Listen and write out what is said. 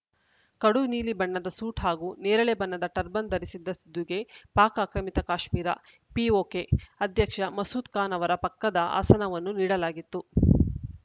ಕಡು ನೀಲಿ ಬಣ್ಣದ ಸೂಟ್‌ ಹಾಗೂ ನೇರಳೆ ಬಣ್ಣದ ಟರ್ಬನ್‌ ಧರಿಸಿದ್ದ ಸಿಧುಗೆ ಪಾಕ್‌ ಆಕ್ರಮಿತ ಕಾಶ್ಮೀರ ಪಿಒಕೆ ಅಧ್ಯಕ್ಷ ಮಸೂದ್‌ ಖಾನ್‌ ಅವರ ಪಕ್ಕದ ಆಸನವನ್ನು ನೀಡಲಾಗಿತ್ತು